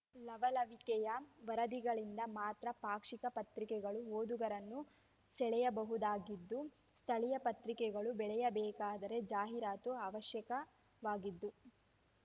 ಲವಲವಿಕೆಯ ವರದಿಗಳಿಂದ ಮಾತ್ರ ಪಾಕ್ಷಿಕ ಪತ್ರಿಕೆಗಳು ಓದುಗರನ್ನು ಸೆಳೆಯಬಹುದಾಗಿದ್ದು ಸ್ಥಳೀಯ ಪತ್ರಿಕೆಗಳು ಬೆಳೆಯಬೇಕಾದರೆ ಜಾಹೀರಾತು ಅವಶ್ಯಕವಾಗಿದ್ದು